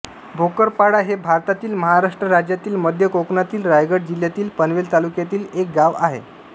भोकरपाडा हे भारतातील महाराष्ट्र राज्यातील मध्य कोकणातील रायगड जिल्ह्यातील पनवेल तालुक्यातील एक गाव आहे